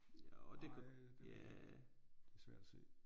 Nej det det er svært at se